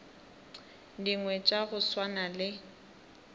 dingwe tša go swana le